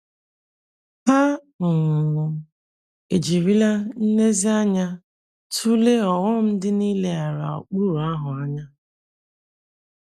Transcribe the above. Hà um ejirila nlezianya tụlee ọghọm dị na-ileghara ụkpụrụ ahụ anya?